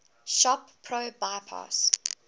shop pro bypass